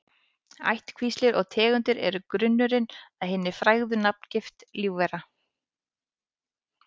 Ættkvíslir og tegundir eru grunnurinn að hinni fræðilegu nafngift lífvera.